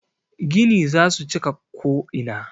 Gini za su cika ko'ina.